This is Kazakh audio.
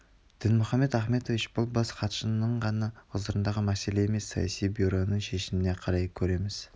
дінмұхаммед ахметович бұл бас хатшының ғана ғұзырындағы мәселе емес саяси бюроның шешмне қарай көреміз